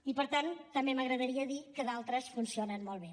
i per tant també m’agradaria dir que d’altres funcionen molt bé